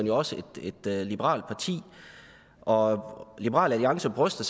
jo også et liberalt parti og liberal alliance bryster